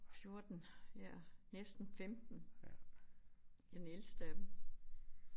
14 ja næsten 15 den ældste af dem